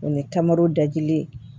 O ye taamaro dagili ye